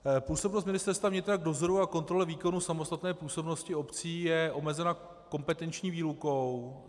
Působnost Ministerstva vnitra k dozoru a kontrole výkonu samostatné působnosti obcí je omezena kompetenční výlukou.